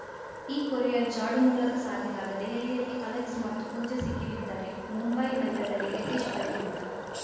ಈ ಕೊರಿಯರ್‌ ಜಾಡು ಮೂಲಕ ಸಾಗಿದಾಗ ದೆಹಲಿಯಲ್ಲಿ ಅಲೆಕ್ಸ್‌ ಮತ್ತು ಪೂಜಾ ಸಿಕ್ಕಿಬಿದ್ದರೆ ಮುಂಬೈ ನಗರದಲ್ಲಿ ರಿತೇಶ್‌ ಬಲೆಗೆ ಬಿದ್ದ